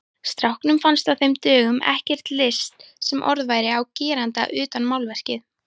Strákunum fannst á þeim dögum ekkert list sem orð væri á gerandi utan málverkið.